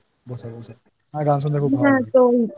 একটু আগে থেকে গান শুনছি বসে বসে আমার গান শুনতে খুব ভালো লাগেI